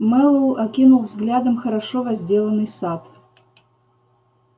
мэллоу окинул взглядом хорошо возделанный сад